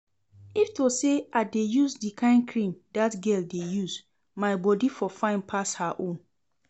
If to say I dey use the kyn cream dat girl dey use, my body for fine pass her own